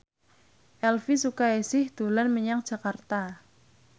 Elvi Sukaesih dolan menyang Jakarta